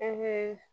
E be